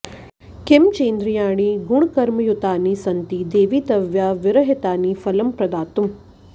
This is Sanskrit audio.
किं चेन्द्रियाणि गुणकर्मयुतानि सन्ति देवि त्वया विरहितानि फलं प्रदातुम्